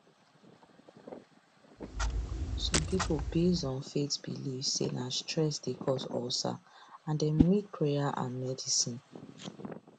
some people based on faith believe say na stress dey cause ulcer and dem need prayer and medicine